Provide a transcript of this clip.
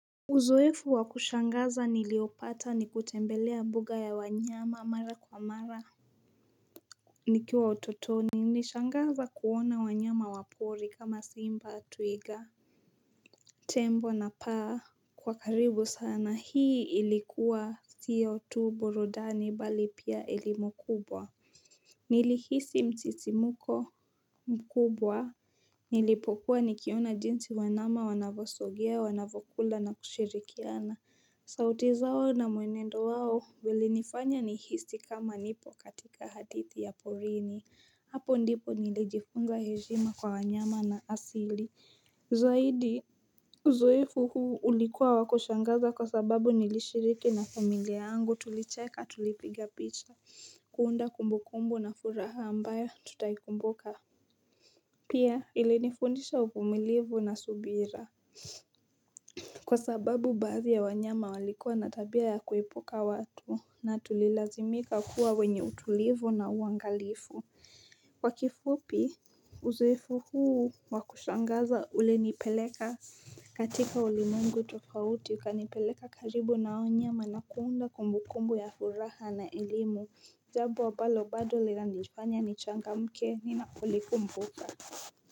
Uzoefu wa kushangaza niliopata ni kutembelea mbuga ya wanyama mara kwa mara Nikiwa utotoni nishangaza kuona wanyama wa pori kama simba twiga Tembo na paa kwa karibu sana hii ilikuwa siyo tu burudani bali pia elimu kubwa Nilihisi msisimuko mkubwa Nilipokuwa nikiona jinsi wanyama wanavyosogea wanavyokula na kushirikiana sauti zao na mwenendo wao ulinifanya nihisi kama nipo katika hadithi ya porini Hapo ndipo nilijifunza heshima kwa wanyama na asili Zaidi uzoefu huu ulikuwa wa kushangaza kwa sababu nilishiriki na familia yangu tulicheka tulipiga picha kuunda kumbu kumbu na furaha ambayo tutaikumbuka Pia ilinifundisha uvumilivu na subira Kwa sababu baadhi ya wanyama walikua na tabia ya kuepuka watu na tulilazimika kuwa wenye utulivu na uangalifu Kwa kifupi uzoefu huu wa kushangaza ulinipeleka katika ulimwengu tofauti ukanipeleka karibu na hao wanyama na kuunda kumbukumbu ya furaha na elimu jambo ambalo bado linanifanya nichangamke ninapolikumbuka.